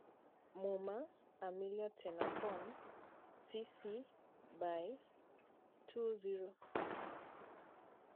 MUMA: Amila Tennakoon (CC BY 2.0)